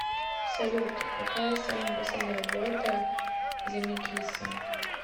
салют какая самая последняя работа земекиса